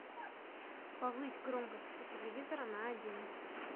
повысь громкость у телевизора на один